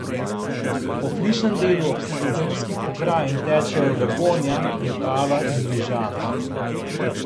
Po flišnem delu Obsredozemskih pokrajin tečejo Dragonja, Vipava in Rižana.